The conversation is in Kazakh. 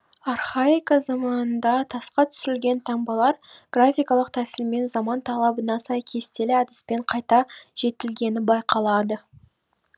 архаика заманында тасқа түсірілген таңбалар графикалық тәсілмен заман талабына сай кестелі әдіспен қайта жетілгені байқалады